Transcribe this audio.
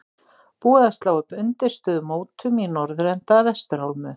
Búið að slá upp undirstöðu mótum í norðurenda að vestur álmu.